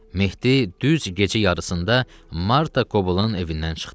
Mehdi düz gecə yarısında Marta Koblın evindən çıxdı.